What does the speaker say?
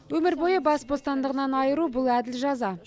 өмір бойы бас бостандығынан айыру бұл әділ жаза